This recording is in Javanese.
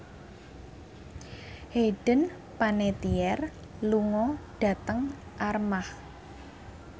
Hayden Panettiere lunga dhateng Armargh